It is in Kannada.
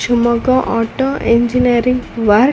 Shivamogga auto engineering works .